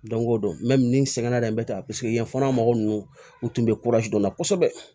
Don o don ni n sɛgɛnna dɛ n bɛ taa paseke yen fana mɔgɔ ninnu u tun bɛ dɔ la kosɛbɛ